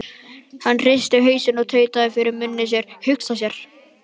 Hann hristi hausinn og tautaði fyrir munni sér: Hugsa sér.